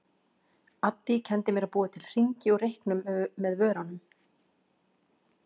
Addý kenndi mér að búa til hringi úr reyknum með vörunum.